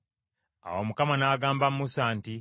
Awo Mukama n’agamba Musa nti,